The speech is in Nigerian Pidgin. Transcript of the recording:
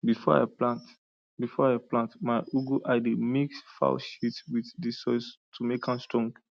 before i plant before i plant my ugu i de mix fowl shit with di soil to make am strong